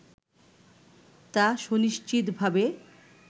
তা সুনিশ্চিতভাবে